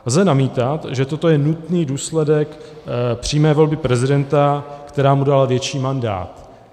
Lze namítat, že toto je nutný důsledek přímé volby prezidenta, která mu dala větší mandát.